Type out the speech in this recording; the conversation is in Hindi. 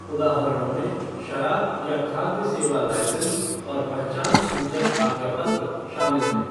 उदाहरणों में शराब या खाद्य सेवा लाइसेंस और पहचानसूचक आज्ञापत्र शामिल हैं।